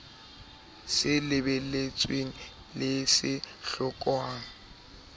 se lebeletsweng le se hlokwang